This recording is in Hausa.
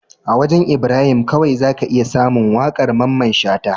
A wajan Ibrahim kawai zaka iya samun waƙar mamman shata